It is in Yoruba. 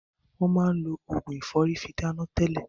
Wọn máa lo Ògùn ìfọ́rí fi dáná tẹlẹ.